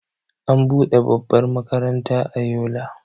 an bude babbar makaranta a Yola